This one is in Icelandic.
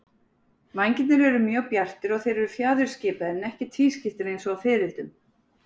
Vængirnir eru mjög bjartir og þeir eru fjaðurskiptir en ekki tvískiptir eins og á fiðrildum.